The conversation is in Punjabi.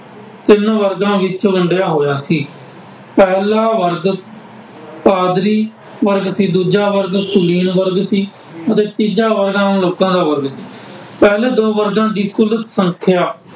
ਤਿੰਨ ਵਰਗਾਂ ਵਿੱਚ ਵੰਡਿਆ ਹੋਇਆ ਸੀ, ਪਹਿਲਾ ਵਰਗ ਪਾਦਰੀ, ਕਿ ਦੂਜਾ ਵਰਗ ਸੁਨੀ਼ਲ ਵਰਗ ਸੀ ਅਤੇ ਤੀਜਾ ਵਰਗ ਲੋਕਾਂ ਦਾ ਵਰਗ, ਪਹਿਲੇ ਦੋ ਵਰਗਾਂ ਦੀ ਕੁੱਲ ਸੰਖਿਆ